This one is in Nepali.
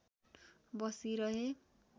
बसि रहे